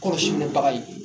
Kɔrɔsi minɛ baga ye